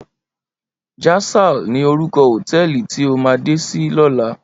Jasal ni órúkò hótèlí ti á má dé si lòlá